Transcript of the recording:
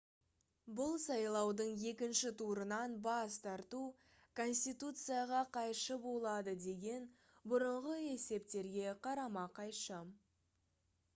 бұл сайлаудың екінші турынан бас тарту конституцияға қайшы болады деген бұрынғы есептерге қарама-қайшы